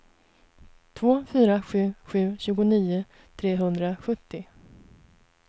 två fyra sju sju tjugonio trehundrasjuttio